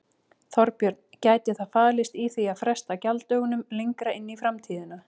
Þorbjörn: Gæti það falist í því að fresta gjalddögunum lengra inn í framtíðina?